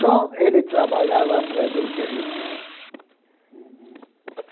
Só ele trabalhava para gente rica. Uhum